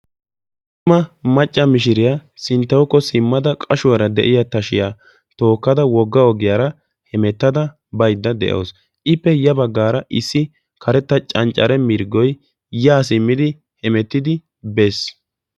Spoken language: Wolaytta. cima macca mishiriyaa sinttawukka simmada qashshuwaara de'iyaa tashshiyaa tookkada wogga ogiyaara baydda de'awu, ippe ya baggaara issi karetta canccare mirggoy ya simmidi biidi de'ees.